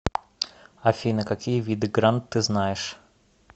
афина какие виды грант ты знаешь